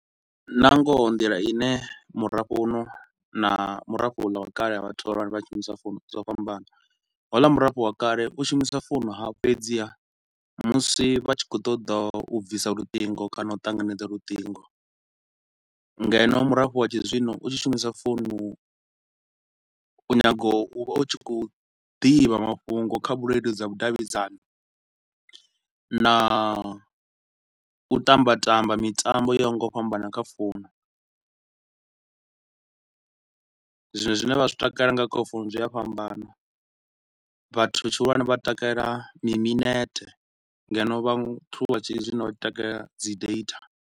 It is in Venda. Na ngoho nḓila ine murafho u no na murafho u ḽa wa kale ha vhathu vhahulwane vhe vha vha vha tshi shumisa founu zwo fhambana. Houla murafho wa kale u shumisa founu ha, ha fhedziha musi vha tshi khou ṱoḓa u bvisa luṱingo kana u ṱanganedza luṱingo ngeno murafho wa tshi zwino u tshi shumisa founu u nyaga u, u tshi khou ḓivha mafhungo kha vhuleludzi ha vhudavhidzani na u tamba tamba mitambo yo yaho nga u fhambana kha founu, zwa zwine vha zwi takalela nga kha founu zwi a fhambana, vhathu tshihulwane vha takalela mi minete ngeno vhathu vha tshi zwino vha tshi takalela dzi data.